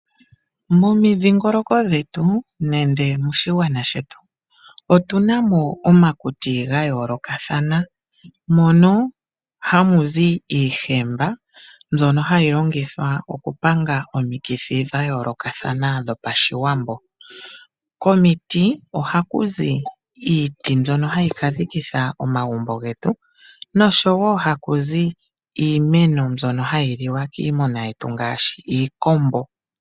Momidhingoloko dhetu nande moshigwana shetu otuna mo omakuti ga yoolokathana, mono hamu zi iihemba mbyono hayi longithwa oku panga omikithi dha yoolokathana dhopashiwambo. Komiti ohaku zi, iiti mbyono hayi ka dhikitha omagumbo getu noshowo haku zi iimeno mbyono hayi liwa kiimuna yetu ngaashi iikombo.